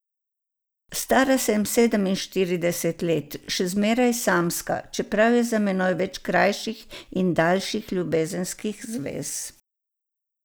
Stara sem sedeminštirideset let, še zmeraj samska, čeprav je za menoj več krajših in daljših ljubezenskih zvez.